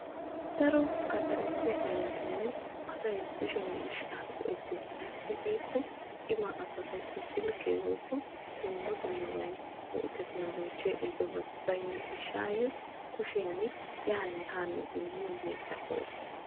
Daro gaxare heeran asay kushe miishsha go'etees ayssi giiko cimaa asawu silkke baynna gishawu kushiyan yaanne haane immosonna.